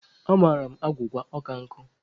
Amara m agwụgwa ọ ka nkụ.